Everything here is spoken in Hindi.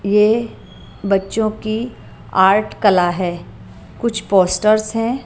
ये बच्चों की आर्ट कला है कुछ पोस्टर्स हैं।